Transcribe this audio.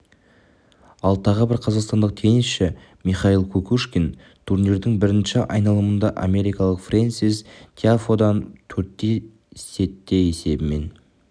ал тағы бір қазақстандық теннисші михаил кукушкин турнирдің бірінші айналымында америкалық фрэнсис тиафодан төрт сетте есебімен